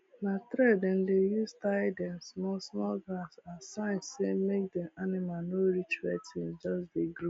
na thread dem dey use tie dem small small grass as sign say make dem animal no reach where things just dey grow